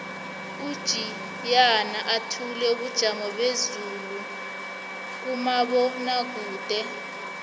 ujiyana uthula ubujamo bezulu kumabonwakude